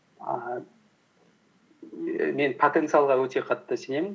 ііі мен потенциалға өте қатты сенемін